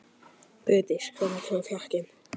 Bryndís, hvenær kemur fjarkinn?